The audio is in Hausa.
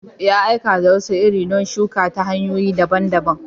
Ya aika da wasu iri don a shuka ta hanyoyi daban-daban.